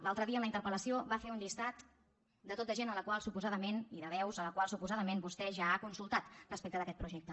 l’altre dia en la interpel·lació va fer un llistat de tot de gent i de veus a les quals suposadament vostè ja ha consultat respecte d’aquest projecte